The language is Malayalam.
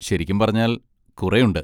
ശരിക്കും പറഞ്ഞാൽ, കുറെയുണ്ട്.